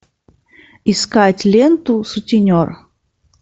искать ленту сутенер